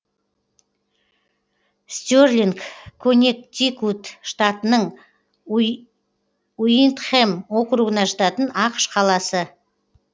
стерлинг коннектикут штатының уиндхэм округіне жататын ақш қаласы